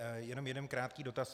Jenom jeden krátký dotaz.